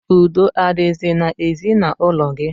Udo adizi na ezi na ulo gi?